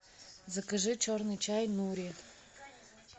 закажи черный чай нури